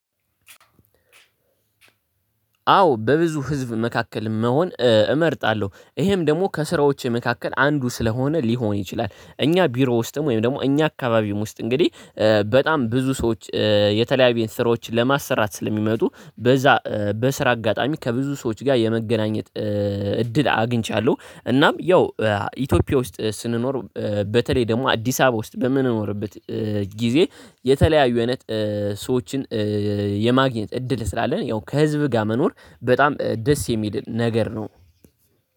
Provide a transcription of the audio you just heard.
አዎ በብዙ ህዝብ መካከል መሆን እመርጣለሁ። ይሄም ደግሞ ከስራዎቼ መካከል አንዱ ስለሆነ ሊሆን ይችላል። እኛ ቢሮ ውስጥም ወይም ደግሞ እኛ አካባቢም ውስጥ እንግዲህ በጣም ብዙ ሰዎች የተለያየ ስራዎችን ለማሰራት ስለሚመጡ በዛ በስራ አጋጣሚ ከብዙ ሰዎች ጋር የመገናኘት እድል አግኝቻለሁ እናም ያው ኢትዮጵያ ውስጥ ስንኖር በተለይ ደግሞ አዲስ አበባ ውስጥ በምንኖርበት ጊዜ የተለያዩ አይነት ሰዎችን የማግኘት እድል ስላለን ያው ከህዝብ ጋር መኖር በጣም ደስ የሚል ነገር ነው።